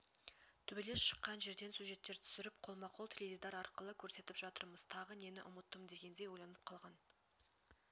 төбелес шыққан жерден сюжеттер түсіріп қолма-қол теледидар арқылы көрсетіп жатырмыз тағы нені ұмыттым дегендей ойланып қалған